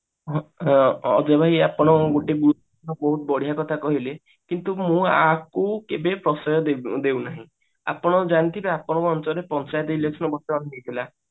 ଅ ଅ ଅଜୟ ଭାଇ ଆପଣ ବହୁତ ବଢିଆ କଥା କହିଲେ କିନ୍ତୁ ମୁଁ ଆକୁ କେବେ ପ୍ରଶୟ ଦେବି ଦେଉନାହିଁ ଆପଣ ଜାଣିଥିବେ ଆପଣଙ୍କ ଅଞ୍ଚଳରେ ପଞ୍ଚାୟତ election ବର୍ତମାନ ହେଇଥିଲା